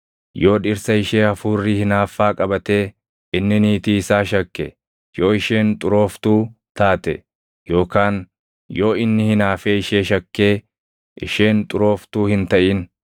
yoo dhirsa ishee hafuurri hinaaffaa qabatee inni niitii isaa shakke, yoo isheen xurooftuu taate yookaan yoo inni hinaafee ishee shakkee isheen xurooftuu hin taʼin,